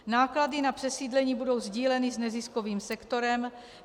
Náklady na přesídlení budou sdíleny s neziskovým sektorem.